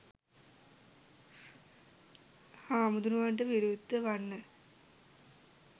හාමුදුරුවන්ට විරුද්ධ වන්න